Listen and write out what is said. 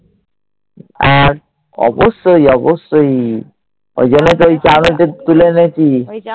আর অবশ্যই অবশ্যই। ওই জন্যেই তো ওই চাউনিতে তুলে এনেছি।